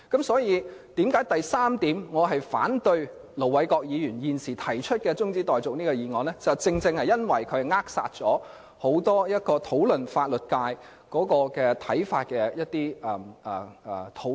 所以，我反對盧偉國議員提出的中止待續議案的第三項原因是，這會扼殺關乎對法律界的看法的討論。